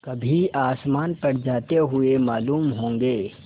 कभी आसमान पर जाते हुए मालूम होंगे